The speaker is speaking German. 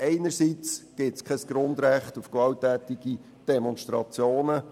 Einerseits gibt es kein Grundrecht auf gewalttätige Demonstrationen.